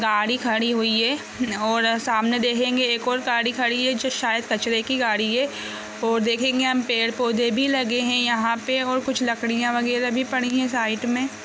गाड़ी खड़ी हुई है और सामने देखेंगे एक और गाड़ी खड़ी हुई है जो शायद कचरे की गाड़ी है और देखेंगे हम पेड़-पौधे भी लगे है यहाँ पे और कुछ लकड़ियाँ वगैरा भी पड़ी हैं साइड मे।